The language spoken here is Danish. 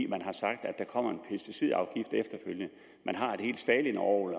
man har sagt at der kommer en pesticidafgift efterfølgende man har et helt stalinorgel